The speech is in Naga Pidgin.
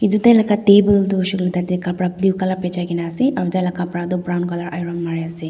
Ethe ekta table tuh hoishe koile tuh tatey kapra blue colour bechai kena ase aro taila kapra tuh brown colour iron kori ase.